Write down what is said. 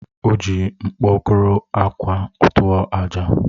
O ji mkpokoró akwa tụọ àjà.